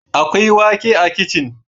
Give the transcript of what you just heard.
Akwai wake a kicin